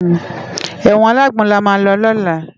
Ewòn àlágbòn làmá lò lòlá